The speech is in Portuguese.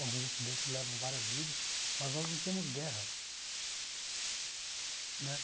alguns acidentes levam várias vidas, mas nós não temos guerra.